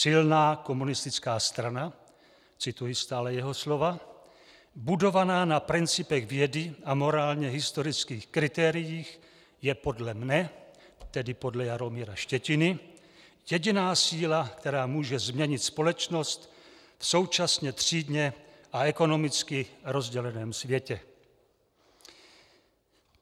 Silná komunistická strana," cituji stále jeho slova, "budovaná na principech vědy a morálně historických kritériích, je podle mne" - tedy podle Jaromíra Štětiny - "jediná síla, která může změnit společnost v současně třídně a ekonomicky rozděleném světě."